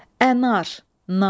Ənar, nar.